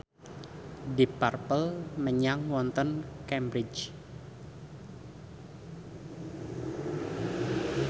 deep purple manggung wonten Cambridge